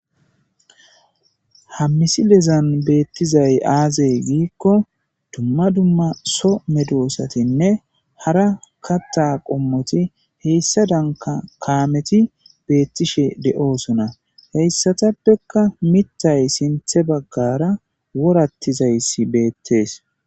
hammisi lezan beettizay aazey giikko dumma dumma so medoosatinne hara katta qommoti heyssa danka kaameti beettishe de7oosona heyssatappekka mitay sinthe baggara worattizayssi beettees